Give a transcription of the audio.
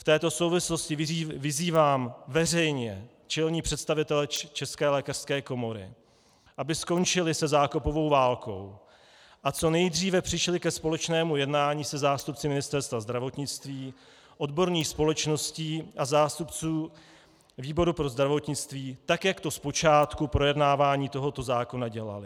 V této souvislosti vyzývám veřejně čelné představitele České lékařské komory, aby skončili se zákopovou válkou a co nejdříve přišli ke společnému jednání se zástupci Ministerstva zdravotnictví, odborných společností a zástupců výboru pro zdravotnictví, tak jak to zpočátku projednávání tohoto zákona dělali.